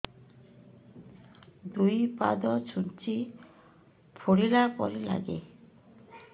ଦୁଇ ପାଦ ଛୁଞ୍ଚି ଫୁଡିଲା ପରି ଲାଗେ